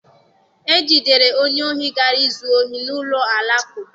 E jidere onye ohi gara izu ohi n'ụlọ alakụba.